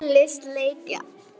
Úrslit leikja